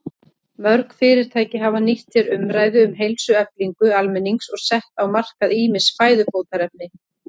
Mörg fyrirtæki hafa nýtt sér umræðu um heilsueflingu almennings og sett á markað ýmis fæðubótarefni.